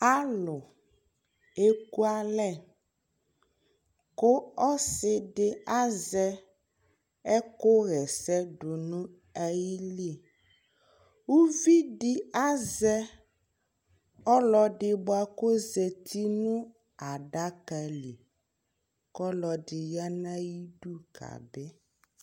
alò eku alɛ kò ɔsi di azɛ ɛkò ɣa ɛsɛ do n'ayili uvi di azɛ ɔlò ɛdi boa kò ozati no adaka li k'ɔlò ɛdi ya n'ayi du ka bi